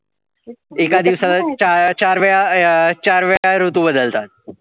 एका दिवसाला चार वेळा अह चार वेळा ऋतू बदलतात.